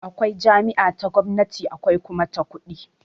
Akwai jami'a ta gwamnati akwai kuma ta kuɗi